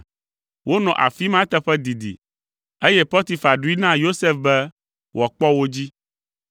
Wonɔ afi ma eteƒe didi, eye Potifar ɖoe na Yosef be wòakpɔ wo dzi.